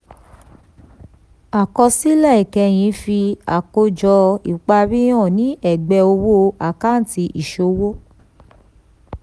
àkọsílẹ̀ ìkẹyìn fi àkójọ ìparí hàn ní ẹ̀gbẹ́ owó àkáǹtì ìṣòwò.